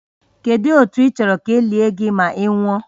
Kedu otu ị chọrọ ka e lie gị ma ị nwụọ?